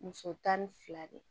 Muso tan ni fila de